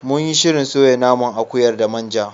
Munyi shirin soya naman akuyar da manja.